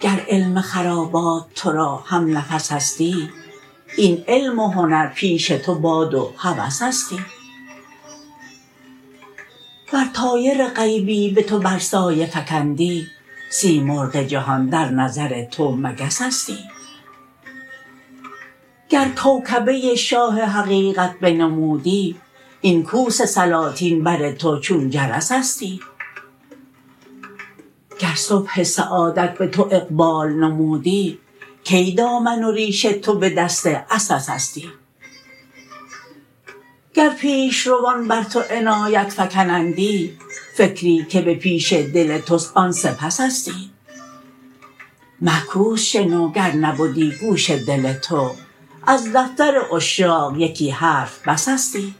گر علم خرابات تو را همنفسستی این علم و هنر پیش تو باد و هوسستی ور طایر غیبی به تو بر سایه فکندی سیمرغ جهان در نظر تو مگسستی گر کوکبه شاه حقیقت بنمودی این کوس سلاطین بر تو چون جرسستی گر صبح سعادت به تو اقبال نمودی کی دامن و ریش تو به دست عسسستی گر پیش روان بر تو عنایت فکنندی فکری که به پیش دل توست آن سپسستی معکوس شنو گر نبدی گوش دل تو از دفتر عشاق یکی حرف بسستی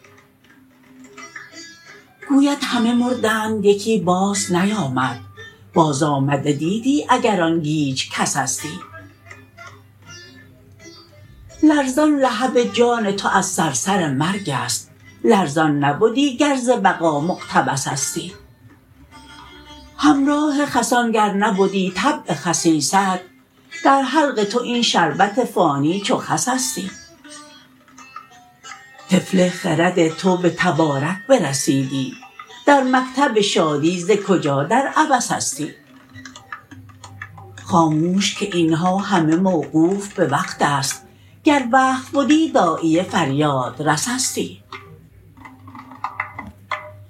گوید همه مردند یکی بازنیامد بازآمده دیدی اگر آن گیج کسستی لرزان لهب جان تو از صرصر مرگ است لرزان نبدی گر ز بقا مقتبسستی همراه خسان گر نبدی طبع خسیست در حلق تو این شربت فانی چو خسستی طفل خرد تو به تبارک برسیدی در مکتب شادی ز کجا در عبسستی خاموش که این ها همه موقوف به وقت است گر وقت بدی داعیه فریادرسستی